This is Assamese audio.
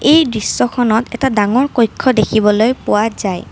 এই দৃশ্যখনত এটা ডাঙৰ কক্ষ দেখিবলৈ পোৱা যায়।